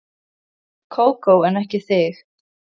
Kókó en ekki þig.